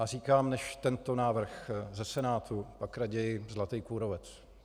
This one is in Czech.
A říkám: než tento návrh ze Senátu, pak raději - zlatý kůrovec.